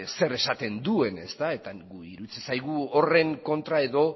zer esaten duen eta guri iruditzen zaigu horren kontra edo